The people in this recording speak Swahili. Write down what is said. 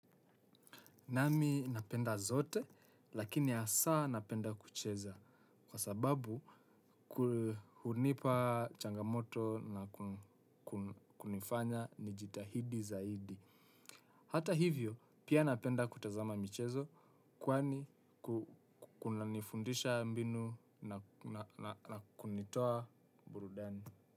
Naam mi napenda zote lakini asaa napenda kucheza kwa sababu ku hunipa changamoto na kunifanya nijitahidi zaidi. Hata hivyo pia napenda kutazama michezo kwani ku kunanifundisha mbinu na kunitoa burudani.